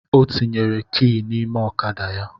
Ọ tinyere ki n’ime ọkada ya